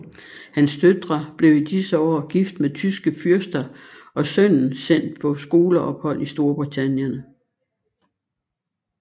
Hans døtre blev i disse år gift med tyske fyrster og sønnen sendt på skoleophold i Storbritannien